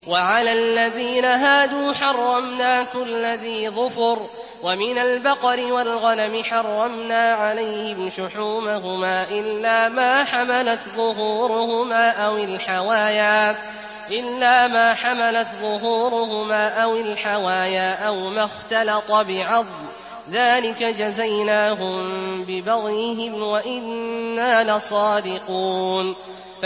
وَعَلَى الَّذِينَ هَادُوا حَرَّمْنَا كُلَّ ذِي ظُفُرٍ ۖ وَمِنَ الْبَقَرِ وَالْغَنَمِ حَرَّمْنَا عَلَيْهِمْ شُحُومَهُمَا إِلَّا مَا حَمَلَتْ ظُهُورُهُمَا أَوِ الْحَوَايَا أَوْ مَا اخْتَلَطَ بِعَظْمٍ ۚ ذَٰلِكَ جَزَيْنَاهُم بِبَغْيِهِمْ ۖ وَإِنَّا لَصَادِقُونَ